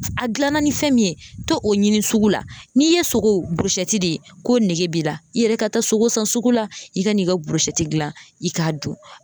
A gilanna ni fɛn min ye to o ɲini sugu la, n'i ye sogo burusɛti de k'o nege b'i la, i yɛrɛ ka taa sogo san sugu la, i ka n'i ka borosɛti dilan i k'a dun.